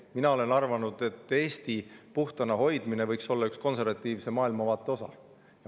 Mina olen arvanud, et Eesti puhtana hoidmine võiks olla üks konservatiivse maailmavaate osa.